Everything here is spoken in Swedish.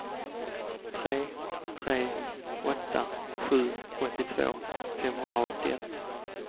tre tre åtta sju åttiotvå femhundraåttioett